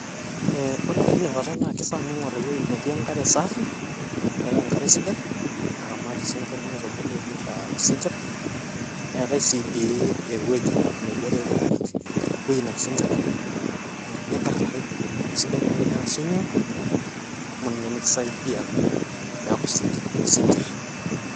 ee ore tinakata naa kifaa ningor ewuei netii enkare safi metaa enkare sidai naramat isinkir nitubulu nitaa isinkir eetae si dii ewueji metaa mebore iltunganak ewuei naa isinkiri ake. ee nikarrari isidai naa tiniata swimming pool amu ninye nikisaidia naa peaku isinkir isinkir.